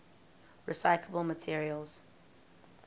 recyclable materials